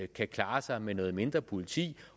kan klare sig med noget mindre politi